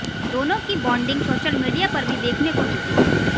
दोनों की bonding social media पर भी देखने को मिलती है